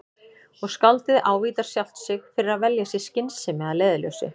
Og skáldið ávítar sjálft sig fyrir að velja sér skynsemi að leiðarljósi.